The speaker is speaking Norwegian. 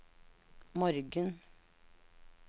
morgen